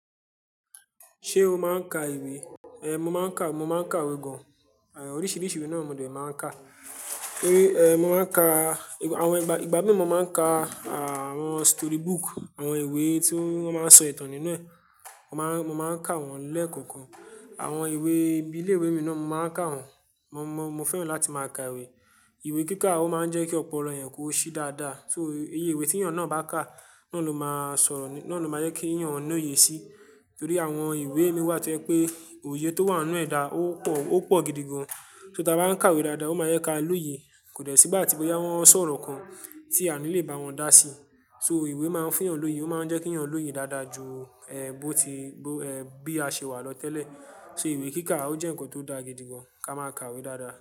Ṣé o máa ń ka ìwé? Mo máa ń ka, mo máa ń ka ìwé gan, oríṣiríṣi ìwé náà mo dẹ̀ máa ń ka. Torí, mo máa ń ka àwọn ìgbà, ìgbà mí mo máa ń ka, àwọn story book, àwọn ìwé tí wọ́n máa ń sọ ìtàn nínú ẹ̀, mo máa ń, mo máa ń ka wọ́n lẹ́ẹ̀kọ̀kan. Àwọn ìwé bíi ilé ìwé mi náà, mo máa ń ka wọ́n. Mo, mo, mo fẹ́ràn láti máa ka ìwé. Ìwé kíkà, ó máa ń jẹ́ kí ọpọlọ èèyàn kó ṣí dáadáa. So, iye ìwé tí ẹ̀yàn náà bá kà, náà ló máa sọ̀rọ̀, náà ló máa jẹ́ kí ẹ̀yàn no yé ṣí. Torí àwọn ìwé mi wà tí ò yé pé òye tó wà nínú ẹ̀ dá á, ó pọ̀, ó pọ̀ gidigan. Tó ta bá ń ka ìwé dáadáa, ó máa jẹ́ ká lóye. Kò dẹ́ sí igbá ti bóyá wọ́n ń sọ̀rọ̀ kan tí a ní lè bá wọn dá sí. So ìwé máa ń fún èèyàn lóye, ó máa ń jẹ́ kí èèyàn lóye dáadáa ju, bó ti, bí a ṣe wà lọ tẹ́lẹ̀. So ìwé kíkà ó jẹ́ ǹkan tó dáa gidigan. Ka máa ka ìwé dáadáa.